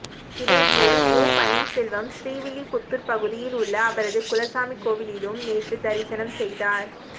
இதேபோல் ஓ பன்னீர்செல்வம் ஸ்ரீவில்லிபுத்தூர் பகுதியில் உள்ள அவரது குலசாமி கோயிலிலும் நேற்று தரிசனம் செய்தார்